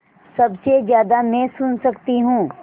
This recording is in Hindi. सबसे ज़्यादा मैं सुन सकती हूँ